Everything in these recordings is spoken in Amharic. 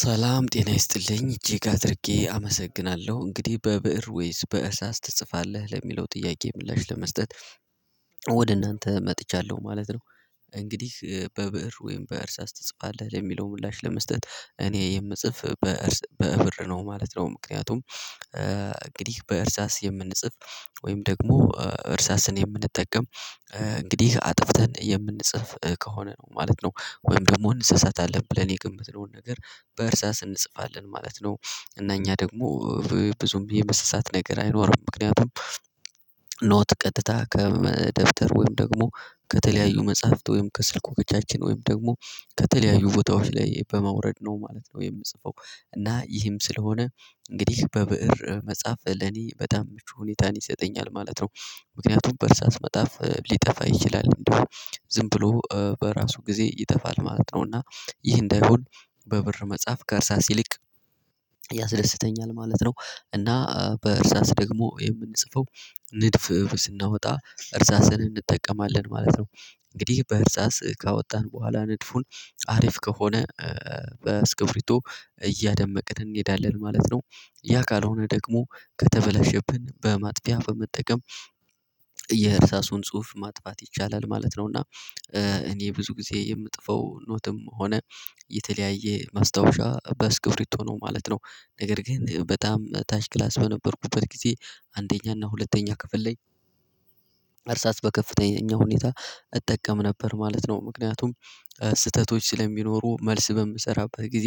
ሰላም ጤና ይስጥልኝ እጅግ አድርጌ አመሰግናለሁ እንግዲህ በብእር ወይስ በእርሳስ ትጽፋለህ ለሚለው ጥያቄ ምላሽ ለመስጠት ወደ እናንተ መጥቻለሁ ማለት ነው። እንግዲህ በብር ወይም በእርሳስ ትጽፋለህ ለሚለው ምላሽ ለመስጠት እኔ የምጽፍ በእርስ በብእር ነው ማለት ነው ምክንያቱም። እንግዲህ በእርሳስ የምንጽፍ ወይም ደግሞ እርሳስን የምንጠቀም እንግዲህ አጥፍተን የምንጽፍ ከሆነ ነው ማለት ነው። ወይም ደግሞ እንሰሳታለን ብለን የገመተነውን ነገር በእርሳስ እንጽፋለን ማለት ነው። እና እኛ ደግሞ ብዙም የመሳሳት ነገር አይኖርም ምክንያቱም ኖት ቀጥታ ከደብተር ወይም ደግሞ ከተለያዩ መጽሐፍት ወይም ከስልኩ በጃችን ወይም ደግሞ ከተለያዩ ቦታዎች ላይ በማውረድ ነው ማለት ነው የምጽፈው። እና ይህም ስለሆነ እንግዲህ በብእር መጻፍ ለኔ በጣም ምቹ ሁኔታን ይሰጠኛል ማለት ነው። ምክንያቱም በርሳስ መጣፍ ሊጠፋ ይችላል ዝም ብሎ በራሱ ጊዜ ይጠፋል ማለት ነው። እና ይህ እንዳይሆን በብር መጽሐፍ ከእርሳስ ይልቅ ያስደስተኛል ማለት ነው። እና በእርሳስ ደግሞ የምንጽፈው ንድፍ ስናወጣ እርሳስን እንጠቀማለን ማለት ነው። እንግዲህ በእርሳስ ካወጣን በኋላ ንድፉን አሪፍ ከሆነ በስክፍሪቶ እያደመቅን እንሄዳለን ማለት ነው። ያ ካልሆነ ደግሞ ከተበላሸብን በማጥፊያ በመጠቀም የርሳሱን ጽሁፍ ማጥፋት ይቻላል ማለት ነው። እና እኔ ብዙ ጊዜ የምጥፈው ኖትም ሆነ የተለያየ ማስታወሻ በስክፍርቶ ነው ማለት ነው። ነገር ግን በጣም ታች ክላስ በነበርኩበት ጊዜ አንደኛ እና ሁለተኛው ክፍል ላይ አርሳስ በከፍተኛ ሁኔታ እጠቀም ነበር ማለት ነው። ምክንያቱም ስህተቶች ስለሚኖሩ መልስ በምሰራበት ጊዜ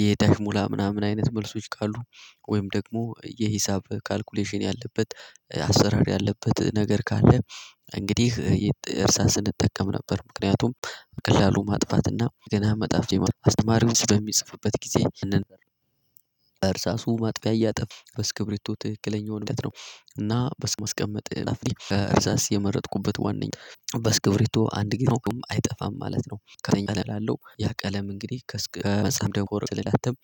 የዳሽ ሙላ ምናምን አይነት መልሶች ካሉ ወይም ደግሞ የሂሳብ ካልኩሌሽን ያለበት አሰራር ያለበት ነገር ካለ እንግዲህ እርሳስን እጠቀም ነበር ምክንያቱም በቀላሉ ማጥፋትና ገና መጣፍ አስተማሪውን ስለሚጽፍበት ጊዜ እንደርሳሱ ማጥፊያ እያጠፉ በስክብሪቶ ትክክለኛውን ምህረት ነው። በስ ማስቀመጥ ይላል እርሳስ የመረጥኩበት ዋናኛው በስክብሪቶ አንድ ቢነኩ አይጠፋም ማለት ነው። ከፍተኛ ቀለም አለው ያ ቀለም እንግዲህ ከመጽሐፍ ደንኮር ስላላተም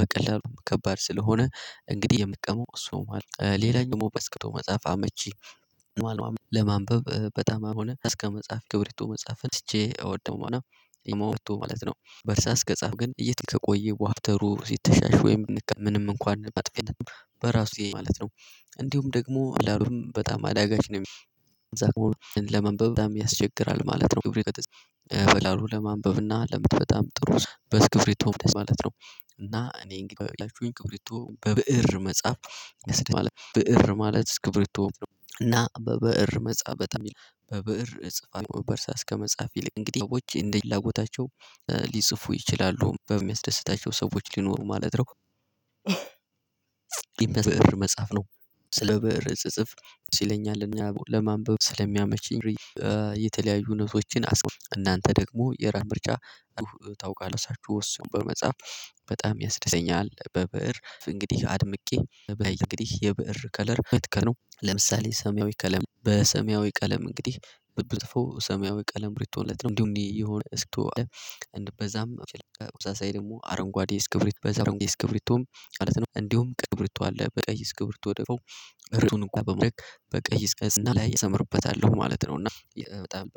በቀለሉ ከባድ ስለሆነ እንግዲህ የምቀመው እሱ ማለት ሌላኛው ደግሞ በስክቶ መጽሐፍ አመቺ። ማለት ለማንበብ በጣም አሁንም እስከ መጽሐፍ ገብሪቶ መጽሐፍን አስቼ እወደው ማለት ነው። በርስአስ ከጻፍ ግን እየተቆየ ከቆየ ደፍተሩ ሲተሻሽ ወይም እንከን ምንም እንኳን መጥፍያ በራሱ ማለት ነው። እንዲሁም ደግሞ በላሉም በጣም አዳጋች ነው። እዛ ለመንበብ ያስቸግራል ማለት ነው። በላሉ ለማንበብና ለምትፈታም ጥሩ በስ ክብሪቶ ማለት ነው። እና እኔ እንግዲህ አያችሁኝ ክብሪቶ በብእር መጽሐፍ ማለት ብእር ማለት እስክብሪቶ እና በብእር መጽሐፍ በጣም የሚል እጽፋለሁ በእርሳስ ከመጽሐፍ ይልቅ እንግዲህ ሰዎች እንደ ፍላጎታቸው ሊጽፉ ይችላሉ በሚያስደስታቸው ሰዎች ሊኖሩ ማለት ነው። ግን ብእር መጻፍ ነው። ስለብዕር ስጽጽፍ ሲለኝ አለኝ ለማንበብ ስለሚያመችኝ። የተለያዩ ኖቶችን እናንተ ደግሞ የራም ምርጫ። ታውቃላችሁ እሱን በመጽሐፍ በጣም ያስደስተኛል በበእር እንግዲህ አድምቄ እንግዲህ የብእር ከለር ምት ነው። ለምሳሌ ሰማያዊ ቀለም በሰማያዊ ቀለም እንግዲህ ብትብትፈው ሰማያዊ ቀለም ብርቶለት ነው እንዲሁ እኔ የሆነ እስኪ እንደበዛም በዛም በተመሳስይ ደግሞ አረንጓዴ እስክብሪት በዛ አረንጓዴ እስክብሪቶም ማለት ነው። እንዲሁም ቅብርቶ አለ በቀይ እስክብርት ወደው ርዕሱን እንኳን በመድረግ በቀይ እስቀዝና ላይ እሰምርበታለሁ ማለት ነው። እና በጣም በቃ